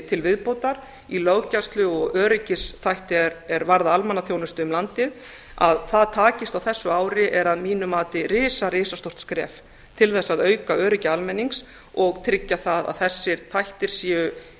til viðbótar í löggæslu og öryggisþætti er varða almannaþjónustu um landið að það takist á þessu ári er að mínu mati risa risastórt skref til þess að auka öryggi almennings og tryggja það að þessir þættir séu